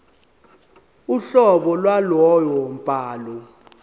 uhlobo lwalowo mbhalo